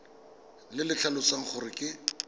le le tlhalosang gore ke